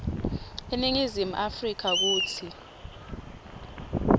eningizimu afrika kutsi